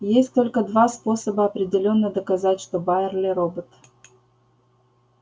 есть только два способа определённо доказать что байерли робот